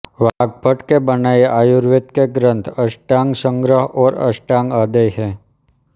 वाग्भट के बनाए आयुर्वेद के ग्रंथ अष्टांगसंग्रह और अष्टांगहृदय हैं